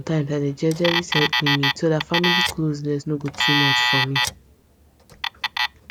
sometimes i dey jejely set limit so that family closeness nor go too much for me